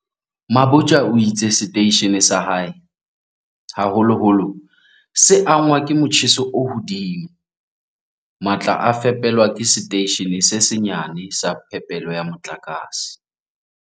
Mabotja o itse seteishene sa hae, haholoholo, se angwa ke motjheso o hodimo. "Matla a fepelwa ke setei shene se senyane sa phepelo ya motlakase."